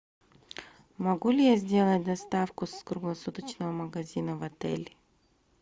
могу ли я сделать доставку с круглосуточного магазина в отель